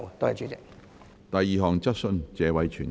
第二項質詢。